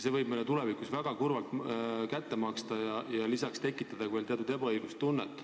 See võib meile tulevikus väga valusasti kätte maksta ja lisaks tekitada teatud ebaõiglustunnet.